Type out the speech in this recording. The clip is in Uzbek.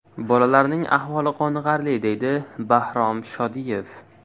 Bolalarning ahvoli qoniqarli”, deydi Bahrom Shodiyev.